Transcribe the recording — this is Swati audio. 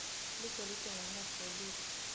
ligolide ngumnotfo welive